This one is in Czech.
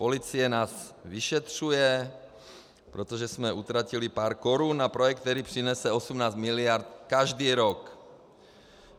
Policie nás vyšetřuje, protože jsme utratili pár korun na projekt, který přinese 18 miliard každý rok.